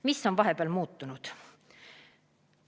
Mis on vahepeal muutunud?